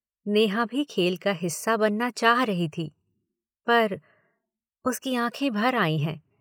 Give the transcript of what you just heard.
नेहा भी खेल का हिस्सा बनना चाह रही थी पर, उसकीआंखें भर आईं हैं।